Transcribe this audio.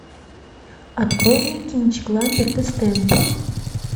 открой мне кинчик ламберт и стэмп